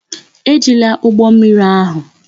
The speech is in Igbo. Ejila ụgbọ mmiri ahụ!